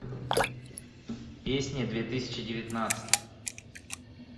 песни две тысячи девятнадцать